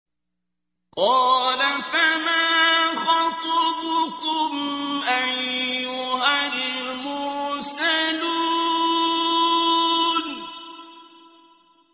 ۞ قَالَ فَمَا خَطْبُكُمْ أَيُّهَا الْمُرْسَلُونَ